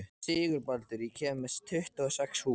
Sigurbaldur, ég kom með tuttugu og sex húfur!